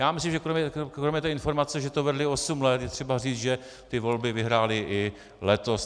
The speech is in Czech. Já myslím, že kromě té informace, že to vedli osm let, je třeba říct, že ty volby vyhráli i letos.